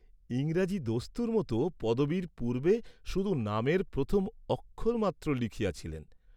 ইংরাজি দস্তুর মত পদবীর পূর্ব্বে শুধু নামের প্রথম অক্ষর মাত্র লিখিয়াছিলেন!